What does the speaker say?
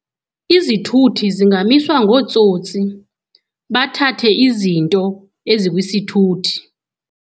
Izithuthi zingamiswa ngootsotsi, bathathe izinto ezikwisithuthi.